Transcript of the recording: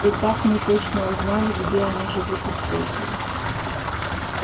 и так мы точно узнали где они живут и сколько их